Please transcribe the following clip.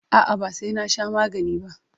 A'a, ba sai na sha magani ba.